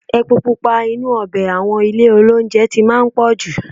Epo pupa inú ọbẹ̀ àwọn ilé-olóunjẹ ti máa ń pọ̀ jù.